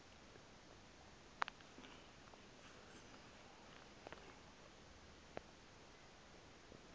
yabe imhongi se